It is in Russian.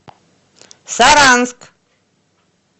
саранск